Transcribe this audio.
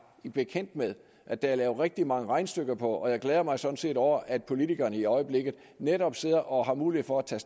bekendt med at der er lavet rigtig mange regnestykker på og jeg glæder mig sådan set over at politikerne i øjeblikket netop sidder og har mulighed for at tage